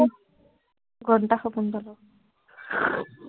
ঘন্টা সপোন